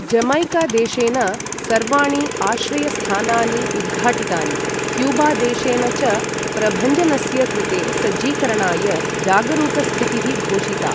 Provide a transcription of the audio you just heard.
Jamaica देशेन सर्वाणि आश्रयस्थानानि उद्घाटितानि, क्यूबा देशेन च प्रभञ्जनस्य कृते सज्जीकरणाय, जागरूकस्थितिः घोषिता।